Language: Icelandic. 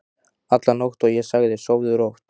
alla nótt, og ég sagði: Sofðu rótt.